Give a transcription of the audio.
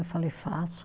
Eu falei, faço.